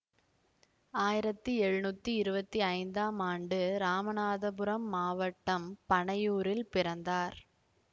ஆயிரத்தி எழுநூத்தி இருவத்தி ஐந்தாம் ஆண்டு இராமநாதபுரம் மாவட்டம் பனையூரில் பிறந்தார்